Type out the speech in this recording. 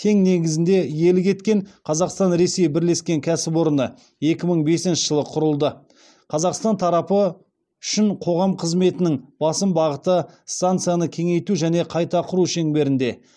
тең негізінде иелік еткен қазақстан ресей бірлескен кәсіпорны екі мың бесінші жылы құрылды қазақстан тарапы үшін қоғам қызметінің басым бағыты станцияны кеңейту және қайта құру шеңберінде